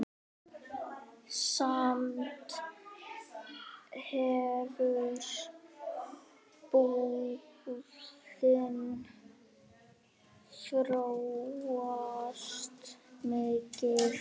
Samt hefur búðin þróast mikið.